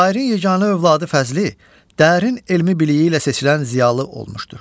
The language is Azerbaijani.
Şairin yeganə övladı Fəzli dərin elmi biliyi ilə seçilən ziyalı olmuşdur.